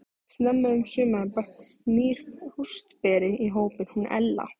Snemma um sumarið bættist nýr póstberi í hópinn, hún Ella.